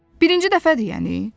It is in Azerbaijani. Birinci dəfədir yəni?